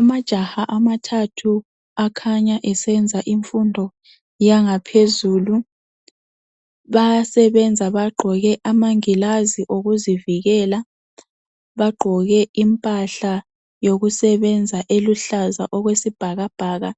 Amajaha amathathu akhanya esenza imfundo yangaphezulu. Bayasebenza bagqoke amangilazi okuzivikela. Bagqoke impahla yokusebenza eluhlaza okwesibhakabhaka